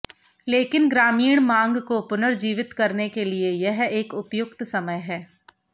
लेकिन ग्रामीण मांग को पुनर्जीवित करने के लिए यह एक उपयुक्त समय है